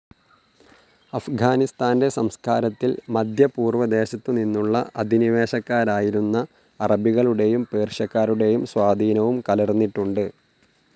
അഫ്ഗാനിസ്താൻ്റെ സംസ്കാരത്തിൽ മദ്ധ്യപൂർവ്വദേശത്തുനിന്നുള്ള അധിനിവേശകരായിരുന്ന അറബികളുടേയും പേർഷ്യക്കാരുടേയും സ്വാധീനവും കലർന്നിട്ടുണ്ട്.